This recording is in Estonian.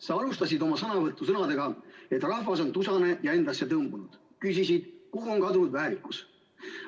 Sa alustasid oma sõnavõttu sõnadega, et rahvas on tusane ja endassetõmbunud, ja küsisid, kuhu on kadunud väärikus.